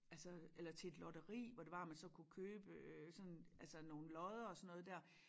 Altså eller til et lotteri hvor det var at man så kunne købe øh sådan altså nogen lodder og sådan noget dér